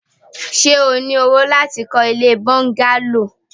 Ṣé o ní owó láti kọ́ ilée bọ́ńgálò?